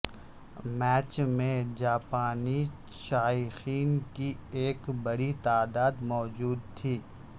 match میں جاپانی شائقین کی ایک بڑی تعداد موجود تھی